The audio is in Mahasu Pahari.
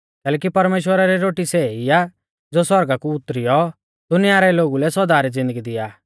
कैलैकि परमेश्‍वरा री रोटी सै ई आ ज़ो सौरगा कु उतरियौ दुनिया रै लोगु लै सौदा री ज़िन्दगी दिआ आ